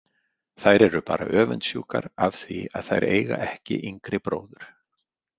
Þær eru bara öfundsjúkar af því að þær eiga ekki yngri bróður.